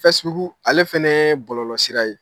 ale fana bɔlɔlɔsira ye.